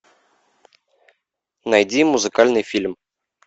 найди музыкальный фильм